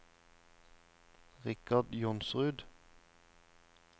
Richard Johnsrud